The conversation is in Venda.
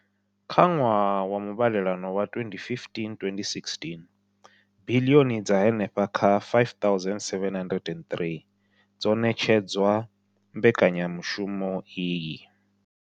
Kha ṅwaha wa muvhalelano wa 2015,16, biḽioni dza henefha kha R5 703 dzo ṋetshedzwa mbekanya mushumo iyi.